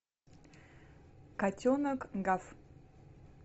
котенок гав